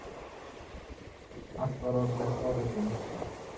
Allt var orðið svo ruglingslegt.